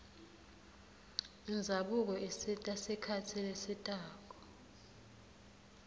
indzabuko isita sikhatsi lesitako